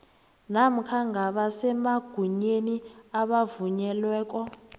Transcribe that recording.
namkha ngabasemagunyeni abavunyelweko